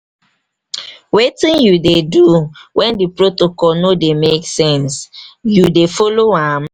wetin you dey do when di protocol no dey make sense you dey follow am?